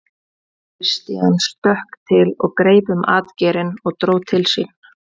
Christian stökk til og greip um atgeirinn og dró til sín.